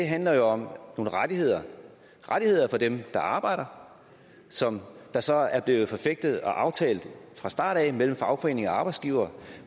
handler om nogle rettigheder for dem der arbejder som så er blevet forfægtet og aftalt fra starten mellem fagforening og arbejdsgiver